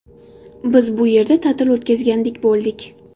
Biz bu yerda ta’til o‘tgazgandek bo‘ldik.